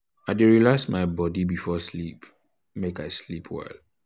i dey relax my body before sleep make i sleep well.